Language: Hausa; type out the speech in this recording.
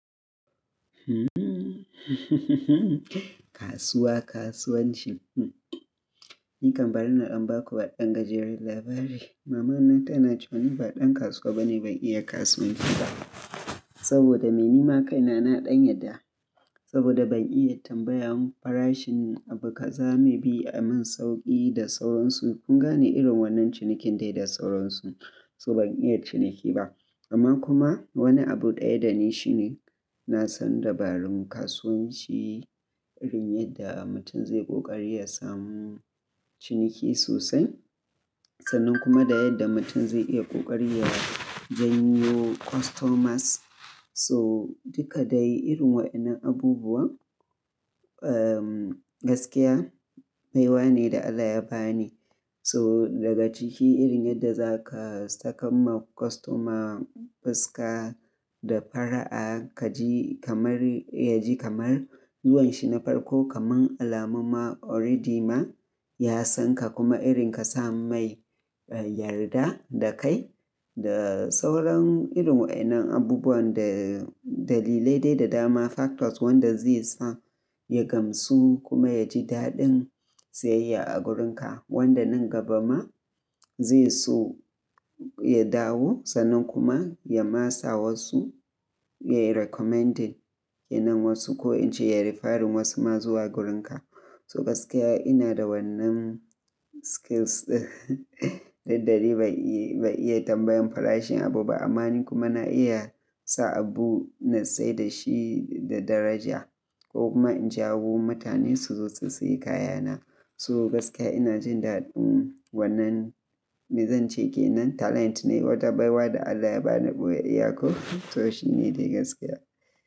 Kasuwa, kasuwanci. Hum ɗin Ni kan barina na ɗan ba ku waɗan gajeren labari. Mama na tana cewa ni ba ɗan kasuwa bane, ban iya kasuwanci ba. Saboda me nima kaina na ɗan yarda saboda ban iya tambayan farashin abu kaza me bi a mun sauƙi da sauransu. Kun gane irin wannan cinikin de da sauran su. So ban iya ciniki ba, amman kuma wani abu ɗaya da ni shine na san dabarun kasuwanci, irin yadda mutum zai ƙoƙari ya samu ciniki sosai, sannan kuma da yadda mutum zai iya ƙoƙari ya janyo customers. So duka dai irin wa'inan abubuwan, eyum gaskiya baiwa ne da Allah ya ba ni. So daga ciki irin yadda za ka sakamma customer fuska da fara'a, Kaji kamar yaji kamar zuwan shi na farko kaman alamumma already ma ya san ka kuma irin ka sa mai yarda da kai da sauran irin wa'inan abubuwan da dalilai dai da dama factors wanda zai sa ya gamsu kuma ya ji daɗin siyayya a wurinka. Wanda nan gabama zai so ya dawo sannan kuma ya ma sa wasu, yayi recommending kenan wasu ko in ce yayi referring wasu ma zuwa wurinka. So gaskiya ina da wannan skills ɗin, duk dade ban iya tambayan farashin abu ba amma ni kuma na iya sa abu nasaida shi da daraja ko kuma in jawo mutane su zo su sayi kaya na. So gaskiya ina jin daɗin wannan, me zan ce ke nan talent ne wata baiwa da Allah ya ba ni ɓoyayya ko? To shine dai gaskiya.